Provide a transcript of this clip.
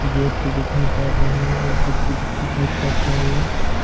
Gate दिखाई पड़ रही है एक टो खिड़की दिखाई पड़ रही हैं।